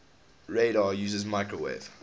radar uses microwave